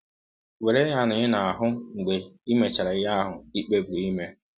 Were ya na ị na - ahụ mgbe i mechara ihe ahụ i kpebiri ime.